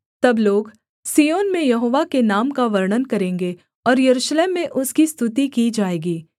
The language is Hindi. तब लोग सिय्योन में यहोवा के नाम का वर्णन करेंगे और यरूशलेम में उसकी स्तुति की जाएगी